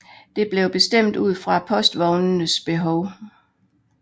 Det blev bestemt ud fra postvognenes behov